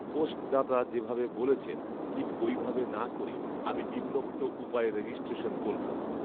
post দাতা যেভাবে বলেছেন, ঠিক ঐভাবে না করে আমি নিম্নোক্ত উপায়ে রেজিষ্ট্রেশন করলাম